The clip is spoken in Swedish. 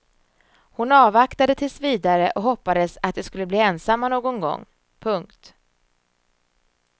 Hon avvaktade tills vidare och hoppades att de skulle bli ensamma någon gång. punkt